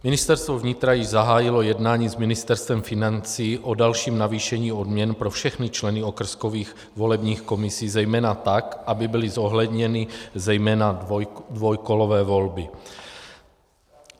Ministerstvo vnitra již zahájilo jednání s Ministerstvem financí o dalším navýšení odměn pro všechny členy okrskových volebních komisí zejména tak, aby byly zohledněny zejména dvoukolové volby.